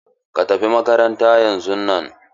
Ka tafi makaranta yan zun nan!